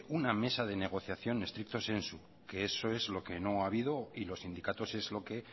una mesa de negociación stricto sensu que eso es lo que no ha habido y los sindicatos es lo que